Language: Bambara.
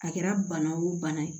A kɛra bana o bana ye